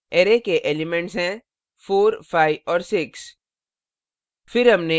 array के elements हैं 45 और 6